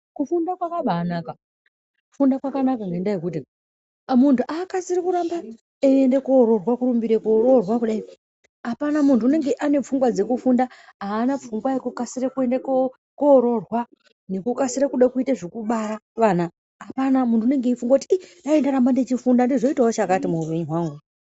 Kufunda kwakabaanaka kufunda kwakanaka ngendaa yekuti muntu akasiri kuramba eeiende koroorwa kurumbira koroorwa kudai apana muntu unenge ane pfungwa dzekufunda aana pfungwa yekukasira kuende kookoroorwa nekukasira kuda kuita zvekubara vana apana muntu unenge eifunga kuti ii dai ndaramba ndeifunda ndozoita chakati muhupenyu hwangu.